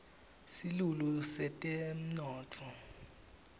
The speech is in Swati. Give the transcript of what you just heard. silulu setemnotfo